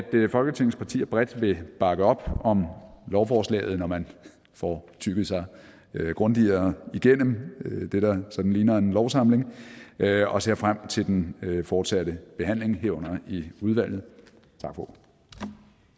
folketingets partier bredt vil bakke op om lovforslaget når man får tygget sig grundigere igennem det der sådan ligner en lovsamling og jeg ser frem til den fortsatte behandling herunder i udvalget tak